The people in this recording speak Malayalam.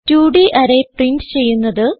2ഡ് അറേ പ്രിന്റ് ചെയ്യുന്നത്